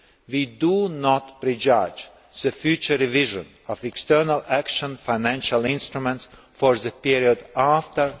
We do not prejudge the future revision of external action financial instruments for the period after